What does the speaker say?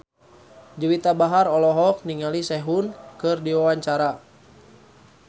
Juwita Bahar olohok ningali Sehun keur diwawancara